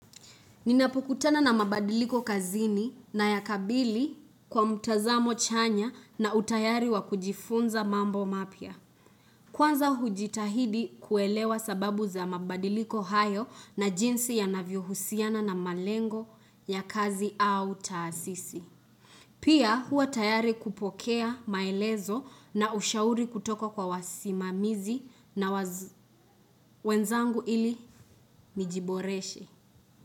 Ninapokutana na mabadiliko kazini na yakabili kwa mtazamo chanya na utayari wa kujifunza mambo mapya. Kwanza hujitahidi kuelewa sababu za mabadiliko hayo na jinsi ya navyohusiana na malengo ya kazi au taasisi. Pia huwa tayari kupokea maelezo na ushauri kutoka kwa wasimamizi na wenzangu ili mijiboreshe.